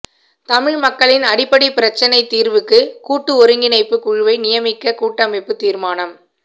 தமிழ் மக்களின் அடிப்படைப் பிரச்சினை தீர்வுக்கு கூட்டு ஒருங்கிணைப்புக் குழுவை நியமிக்க கூட்டமைப்பு தீர்மானம்